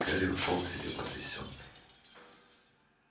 гарри ушёл к себе потрясённый